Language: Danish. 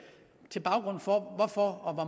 til baggrund for hvorfor og